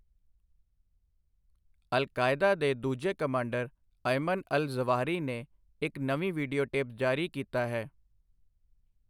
ਅਲ Qaeda ਦੇ ਦੂਜੇ commander, Ayman al Zawahiri ਨੇ ਇੱਕ ਨਵੀਂ ਵੀਡੀਓਟੇਪ ਜਾਰੀ ਕੀਤਾ ਹੈ।